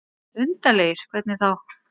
Undarlegir. hvernig þá?